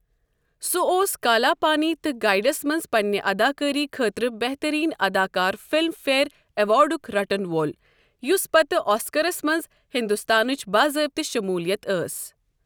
سُہ اوس کالا پانی تہٕ گائیڈس منٛز پننہِ اداکٲری خٲطرٕ بہترین اداکار فلم فیئر ایوارڈُک رٹَن وول یوٚس پتہٕ آسکرَس منٛز ہندوستانٕچ باضابطہ شمولیت ٲسۍ۔